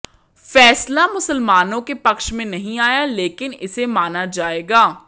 फैसला मुसलमानों के पक्ष में नहीं आया लेकिन इसे माना जाएगा